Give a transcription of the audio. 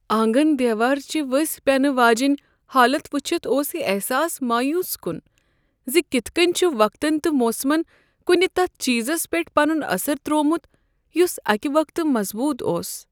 آنگن دیوارٕچہِ ؤسۍ پٮ۪نہٕ واجیٚنۍ حالت وٕچھِتھ اوس یہ احساس مایوٗس کُن ز کتھ کٔنۍ چھُ وقتن تہٕ موسمن کنہٕ تتھ چیزس پیٹھ پنن اثر تروومت یُس اکہ وقتہٕ مضبوٗط اوس۔